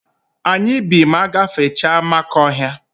Anyị bi ma agbafecha Amakọhịa.